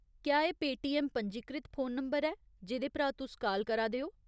क्या एह् पेटीऐम्म पंजीकृत फोन नंबर ऐ जेह्दे परा तुस काल करा दे ओ ?